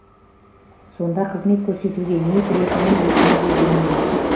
сонда қызмет көрсетуге не кіретінін өзіміз де білмейміз